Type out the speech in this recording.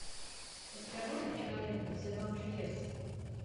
у тебя будет кинолента сезон чудес